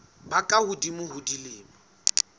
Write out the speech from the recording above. ba ka hodimo ho dilemo